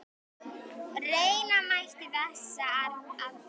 Reyna mætti þessa aðferð.